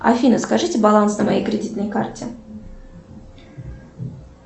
афина скажите баланс на моей кредитной карте